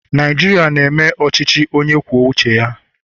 Naijiria na-eme ọchịchị onye kwuo uche ya